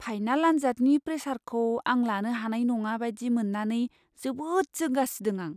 Final आनजादनि प्रेसारखौ आं लानो हानाय नङा बायदि मोन्नानै जोबोद जिंगा सिदों आं।